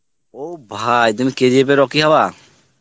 ও ভাই তুমি KGF এর রকি হবা?